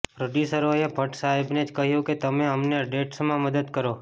પ્રોડ્યુસરોએ ભટ્ટસાહેબને જ કહ્યું કે તમે અમને ડેટ્સમાં મદદ કરો